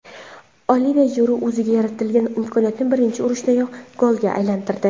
Olive Jiru o‘ziga yaratilgan imkoniyatni birinchi urinishdayoq golga aylantirdi.